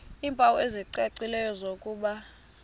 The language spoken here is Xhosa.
iimpawu ezicacileyo zokuba